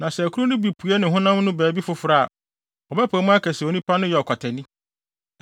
Na sɛ akuru no bi pue ne honam no baabi foforo a, wɔbɛpae mu aka sɛ onipa no yɛ ɔkwatani.